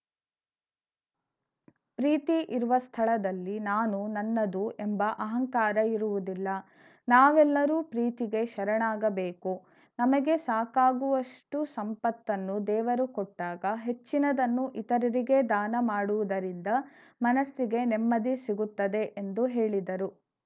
ಪ್ರೀತಿ ಇರುವ ಸ್ಥಳದಲ್ಲಿ ನಾನು ನನ್ನದು ಎಂಬ ಅಹಂಕಾರ ಇರುವುದಿಲ್ಲ ನಾವೆಲ್ಲರೂ ಪ್ರೀತಿಗೆ ಶರಣಾಗಬೇಕು ನಮಗೆ ಸಾಕಾಗುವಷ್ಟುಸಂಪತ್ತನ್ನು ದೇವರು ಕೊಟ್ಟಾಗ ಹೆಚ್ಚಿನದನ್ನು ಇತರರಿಗೆ ದಾನ ಮಾಡುವುದರಿಂದ ಮನಸ್ಸಿಗೆ ನೆಮ್ಮದಿ ಸಿಗುತ್ತದೆ ಎಂದು ಹೇಳಿದರು